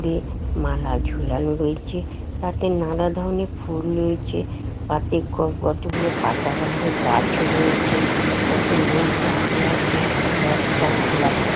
উপরে মালা ঝুলানো রয়েছে তাতে নানা ধরণের ফুল রয়েছে পাতে ক কতগুলো পাতাবাহারের গাছ রয়েছে কত লোক দাঁড়িয়ে আছে বস্তা খোলা